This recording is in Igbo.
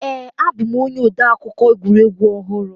Ee a bụ m onye odeakụkọ egwuregwu ọhụrụ